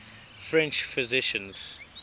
french physicians